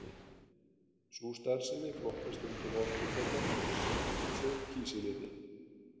Sú starfsemi flokkast undir orkufrekan iðnað eins og Kísiliðjan.